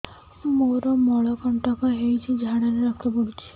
ମୋରୋ ମଳକଣ୍ଟକ ହେଇଚି ଝାଡ଼ାରେ ରକ୍ତ ପଡୁଛି